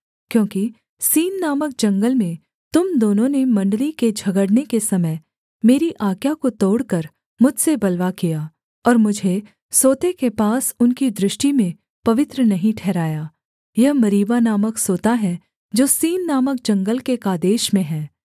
क्योंकि सीन नामक जंगल में तुम दोनों ने मण्डली के झगड़ने के समय मेरी आज्ञा को तोड़कर मुझसे बलवा किया और मुझे सोते के पास उनकी दृष्टि में पवित्र नहीं ठहराया यह मरीबा नामक सोता है जो सीन नामक जंगल के कादेश में है